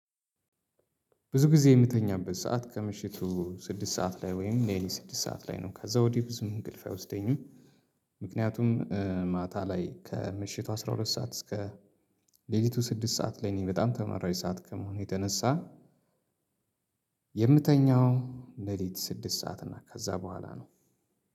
ብዙ ጊዜ እምተኛበት ሰዓት ከምሽቱ ስድስት ሰዓት ላይ ወይም ሌሊት ስድስት ሰዓት ላይ ነው ከዛ ወዲህ ብዙም እንቅልፍ አይወስደኝም። ምክንያቱም ማታ ላይ ከምሽቱ አስራ ሁለት ሰዓት እስከ ሌሊቱ ስድስት ሰዓት ለ እኔ በጣም ተመራጭ ሰዓት ከመሆኑ የተነሳ። የምተኛው ሌሊት ስድስት ሰዓት እና ከዛ በኋላ ነው።